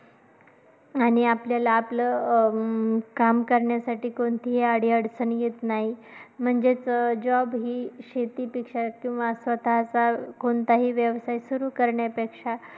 आणि आपल्याला आपलं अं काम करण्यासाठी कोणतीही अडी अडचणी येतं नाही म्हणजेचं job हि शेतीपेक्षा किंवा स्वतःचा कोणताही व्यवसाय सुरू करण्यापेक्षा